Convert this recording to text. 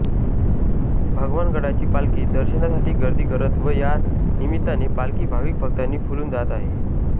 भगवानगडाची पालखीत दर्शनासाठी गर्दी करत व या निमित्ताने पालखी भाविक भक्तांनी फुलून जात आहे